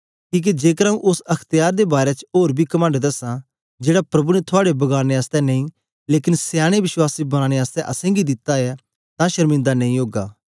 किके जेकर आंऊँ ओस अख्त्यार दे बारै च ओर बी कमंड दसां जेड़ा प्रभु ने थुआड़े बगाड़ने आसतै नेई लेकन सयाने विश्वासी बनाने आसतै असेंगी दित्ता ऐ तां शर्मिंदा नेई ओगा